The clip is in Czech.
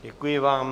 Děkuji vám.